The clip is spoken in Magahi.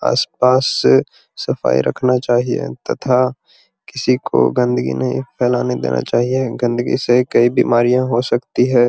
आस-पास से सफाई रखना चाहिए तथा किसी को गंदिगी नहीं फैलाने नहीं देना चाहिए गंदिगी से कोई बीमारियां हो सकती है।